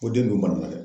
Ko den bɛ mara dɛ